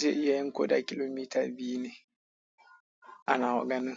zai iya yin ko da kilomita biyu ne anawa ganin.